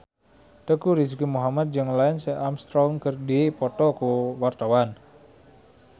Teuku Rizky Muhammad jeung Lance Armstrong keur dipoto ku wartawan